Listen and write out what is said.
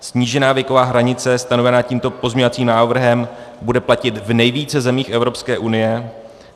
Snížená věková hranice stanovená tímto pozměňovacím návrhem bude platit v nejvíce zemích Evropské unie.